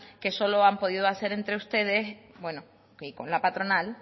que solo han podido hacer entre ustedes bueno y con la patronal